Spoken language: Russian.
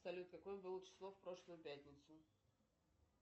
салют какое было число в прошлую пятницу